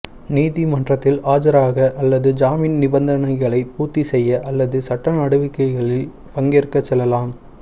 நீதிமன்றத்தில் ஆஜராக அல்லது ஜாமீன் நிபந்தனைகளை பூர்த்தி செய்ய அல்லது சட்ட நடவடிக்கைகளில் பங்கேற்க செல்லலாம்